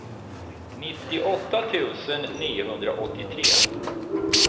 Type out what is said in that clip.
nittioåtta tusen niohundraåttiotre